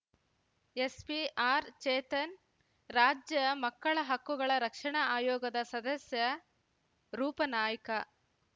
SP R Chetan ರಾಜ್ಯ ಮಕ್ಕಳ ಹಕ್ಕುಗಳ ರಕ್ಷಣಾ ಆಯೋಗದ ಸದಸ್ಯ ರೂಪನಾಯ್ಕ